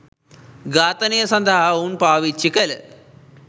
ඝාතනය සඳහා ඔවුන් පාවිච්චි කළ